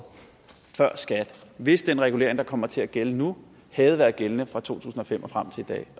før skat hvis den regulering der kommer til at gælde nu havde været gældende fra to tusind og fem og frem til i dag